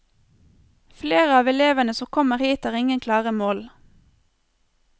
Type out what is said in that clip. Flere av elevene som kommer hit har ingen klare mål.